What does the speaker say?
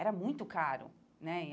Era muito caro, né?